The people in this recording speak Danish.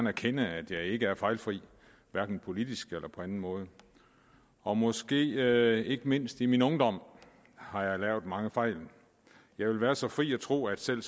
erkende at jeg ikke er fejlfri hverken politisk eller på anden måde og måske ikke mindst i min ungdom har jeg lavet mange fejl jeg vil være så fri at tro at selv